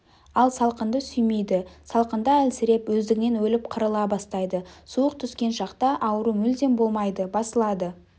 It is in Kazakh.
ал салқынды сүймейді салқында әлсіреп өздігінен өліп қырыла бастайды суық түскен шақта ауру мүлде болмайды басылады